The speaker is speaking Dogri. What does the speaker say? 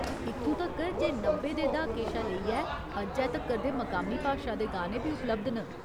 इत्थूं तक्कर जे नब्बै दे द्हाके शा लेइयै अज्जै तक्कर दे मकामी भाशा दे गाने बी उपलब्ध न।